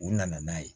U nana n'a ye